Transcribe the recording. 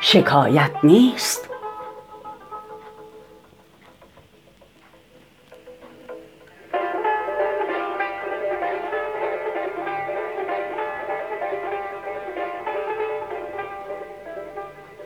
شکایت نیست